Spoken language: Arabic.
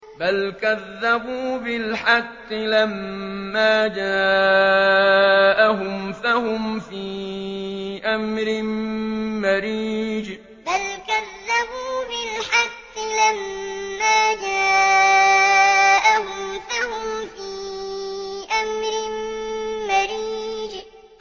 بَلْ كَذَّبُوا بِالْحَقِّ لَمَّا جَاءَهُمْ فَهُمْ فِي أَمْرٍ مَّرِيجٍ بَلْ كَذَّبُوا بِالْحَقِّ لَمَّا جَاءَهُمْ فَهُمْ فِي أَمْرٍ مَّرِيجٍ